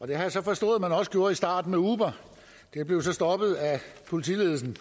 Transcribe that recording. det har jeg så forstået at man også gjorde i starten med uber det blev så stoppet af politiledelsen